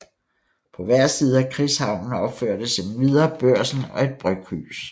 På hver side af krigshavnen opførtes endvidere Børsen og et bryghus